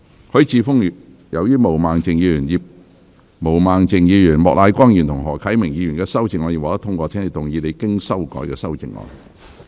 許智峯議員，由於毛孟靜議員、莫乃光議員及何啟明議員的修正案已獲得通過，請動議你經修改的修正案。